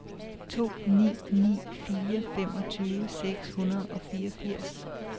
to ni ni fire femogtyve seks hundrede og fireogfirs